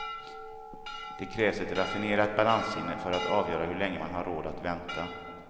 Det krävs ett raffinerat balanssinne för att avgöra hur länge man har råd att vänta.